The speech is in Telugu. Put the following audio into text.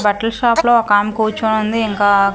బట్టల షాప్ లో ఒకామె కూర్చొనుంది ఇంకా--